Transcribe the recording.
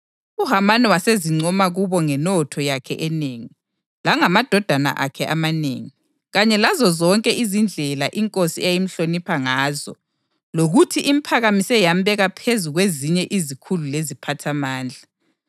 uHamani wasezincoma kubo ngenotho yakhe enengi, langamadodana akhe amanengi, kanye lazozonke izindlela inkosi eyayimhlonipha ngazo lokuthi imphakamise yambeka phezu kwezinye izikhulu leziphathamandla.